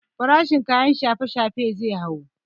Farashin kayan shafe shafe zai hau